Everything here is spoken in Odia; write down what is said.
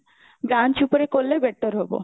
branch ଉପରେ କଲେ better ହବ